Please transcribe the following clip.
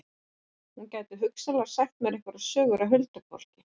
Hún gæti hugsanlega sagt mér einhverjar sögur af huldufólki.